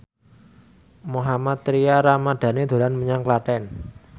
Mohammad Tria Ramadhani dolan menyang Klaten